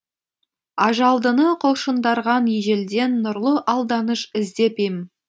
ажалдыны құлшындырған ежелден нұрлы алданыш іздеп ем